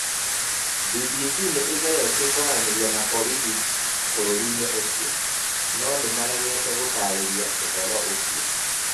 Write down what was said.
BBC nĩ ĩgeretie kwaranĩria na borithi bũrũri-inĩ ũcio, no maregete gũtaarĩria ũhoro ũcio.